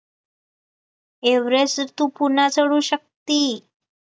Everest तू पुन्हा चढू शक्ती